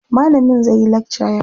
Malamin zai yi lakca yau.